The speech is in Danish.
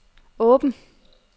åben